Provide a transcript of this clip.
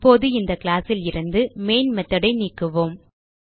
இப்போது இந்த கிளாஸ் லிருந்து மெயின் மெத்தோட் ஐ நீக்குவோம்